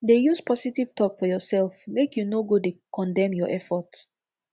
dey use positive tok for urself mek yu no go dey condemn yur effort